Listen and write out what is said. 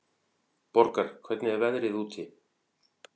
Borgar, hvernig er veðrið úti?